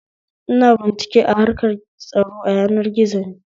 Ina bincike a harkar tsaro a yanar gizo ne